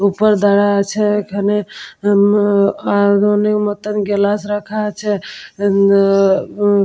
উপর দ্বারা আছে এখানে আ ম ও ও আইরন -এর মতোন গ্লাস রাখা আছে আ ম আ ব উ--